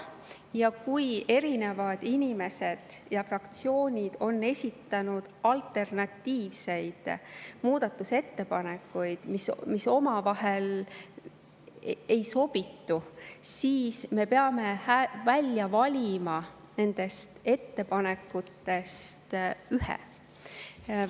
Ja kui erinevad inimesed ja fraktsioonid on esitanud alternatiivseid muudatusettepanekuid, mis omavahel ei sobitu, siis me peame välja valima nendest ettepanekutest ühe.